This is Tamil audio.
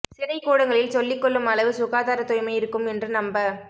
சிறைக்கூடங்களில் சொல்லிக் கொள்ளும் அளவு சுகாதார தூய்மை இருக்கும் என்று நம்ப